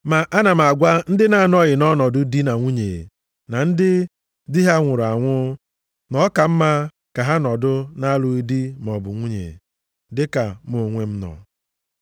Ma ana m agwa ndị na-anọghị nʼọnọdụ di na nwunye na ndị di ha nwụrụ anwụ, na ọ ka mma ka ha nọdụ na-alụghị di maọbụ nwunye, dịka m onwe m nọ.